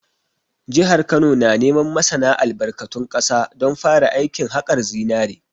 Jihar Kano na neman masana albarkatun ƙasa don fara aikin haƙar zinare